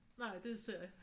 Nej det er serie